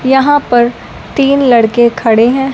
यहां पर तीन लड़के खड़े हैं।